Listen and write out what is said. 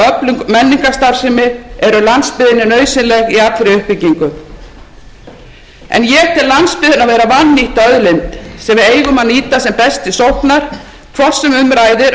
öflug menningarstarfsemi er landsbyggðinni nauðsynleg í allri uppbyggingu en ég tel landsbyggðina vera vannýtta auðlind sem við eigum að nýta sem best til sóknar hvort sem um ræðir